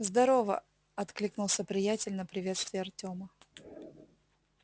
здорово откликнулся приятель на приветствие артема